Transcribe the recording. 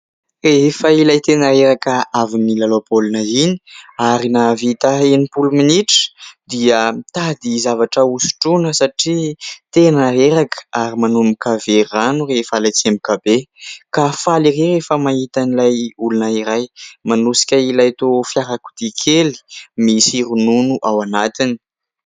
Rehefa ilay tena reraka avy milalao baolina iny ary nahavita enimpolo minitra dia mitady zavatra hosotroana satria tena reraka. Ary manomboka very rano rehefa ilay tsemboka be ka faly rehefa mahita an'ilay olona iray manosika ilay fiarakodia kely misy ronono ao anatiny.